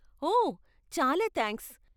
ఓ, చాలా థ్యాంక్స్.